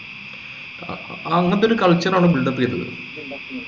അങ്ങാത്തൊരു culture ആ build up ചെയ്തത്